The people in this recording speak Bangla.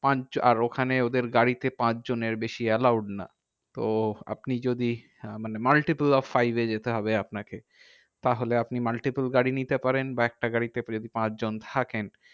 পাঁচ আর ওখানে ওদের গাড়িতে পাঁচজনের বেশি allowed না। তো আপনি যদি মানে multiple of site এ যেতে হবে আপনাকে। তাহলে আপনি multiple গাড়ি নিতে পারেন বা একটা গাড়িতে পাঁচজন থাকেন।